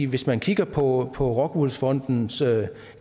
hvis man kigger på rockwool fondens